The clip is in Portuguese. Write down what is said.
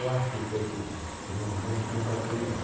Eu acho que foi por isso, porque não não não fraturei nada.